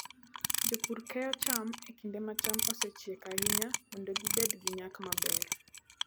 Jopur keyo cham e kinde ma cham osechiek ahinya mondo gibed gi nyak maber.